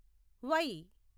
why